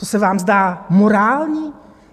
To se vám zdá morální?